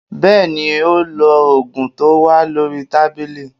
Bẹ́ẹ̀ni, ó lo ògùn tó wà lórí tábìlì